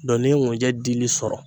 Dɔn ni ye ŋunjɛ dili sɔrɔ